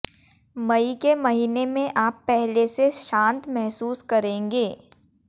मई के महीने में आप पहले से शांत महसूस करेंगे